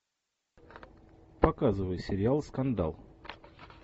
показывай сериал скандал